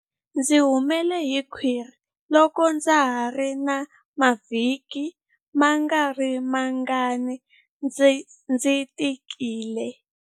Ndzi humele hi khwiri loko ndza ha ri na mavhiki mangarimangani ndzi tikile.